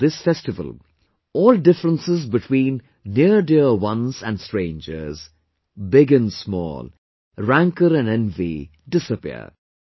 In this festival, all differences between neardear ones and strangers, big and small, rancour and envy disappear